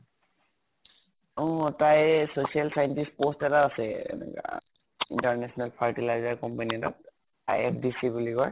অ । তাই social scientist post এটা ত আছে আআ international fertilizer company এটা । IFDC বুলি কয় ।